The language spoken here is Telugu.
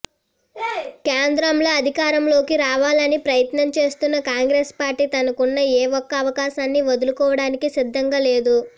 కేంద్రంలో అధికారంలోకి రావాలని ప్రయత్నం చేస్తున్న కాంగ్రెస్ పార్టీ తనకున్న ఎ ఒక్క అవకాశాన్ని వదులుకోవడానికి సిద్ధంగా లేదు